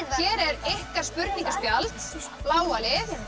hér er ykkar spurningaspjald bláa lið